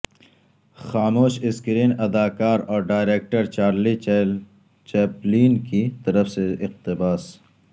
خاموش اسکرین اداکار اور ڈائریکٹر چارلی چیپلین کی طرف سے اقتباس